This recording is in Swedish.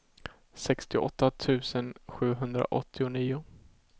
sextioåtta tusen sjuhundraåttionio